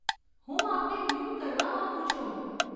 હું આપને મ્યુટ કરવા માંગું છું